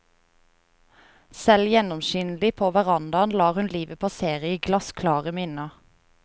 Selv gjennomskinnelig på verandaen lar hun livet passere i glassklare minner.